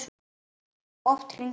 Oft hringdi hún.